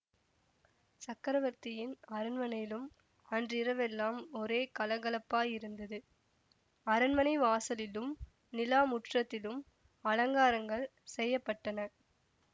சக்கரவர்த்தியின் அரண்மனையிலும் அன்றிரவெல்லாம் ஒரே கலகலப்பாயிருந்தது அரண்மனை வாசலிலும் நிலா முற்றத்திலும் அலங்காரங்கள் செய்ய பட்டன